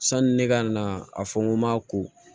Sani ne ka na a fɔ n ko n ma ko